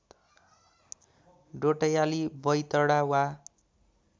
डोट्याली बैतडा वा